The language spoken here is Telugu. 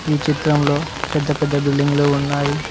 ఈ చిత్రంలో పెద్ద పెద్ద బిల్డింగ్ లు ఉన్నాయి.